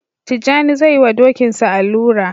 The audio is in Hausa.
Tijjani zai yi wa Dokinsa allura